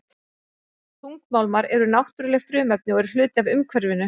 Þungmálmar eru náttúruleg frumefni og eru hluti af umhverfinu.